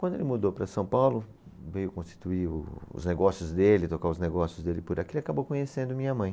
Quando ele mudou para São Paulo, veio constituir os negócios dele, tocar os negócios dele por aqui, ele acabou conhecendo minha mãe.